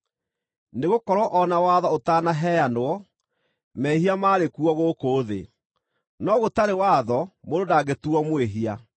nĩgũkorwo o na watho ũtanaheanwo, mehia maarĩ kuo gũkũ thĩ. No gũtarĩ watho mũndũ ndangĩtuuo mwĩhia.